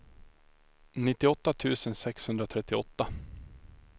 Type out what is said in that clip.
nittioåtta tusen sexhundratrettioåtta